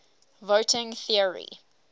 voting theory